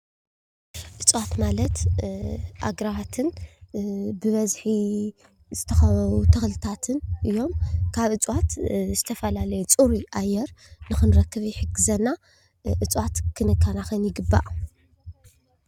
እፅዋት ማለት ኣግራባትን ብበዝሒ ዝተኸበቡ ተኽልታትን እዮም። ካብ እፅዋት ዝተፈላለየ ፅሩይ ኣየር ንኽንረክብ ይሕግዘና። እፅዋት ክንከናኸን ይግባእ።